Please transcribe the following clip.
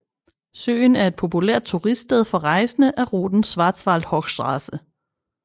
Søen er et populært turiststed for rejsende ad ruten Schwarzwaldhochstraße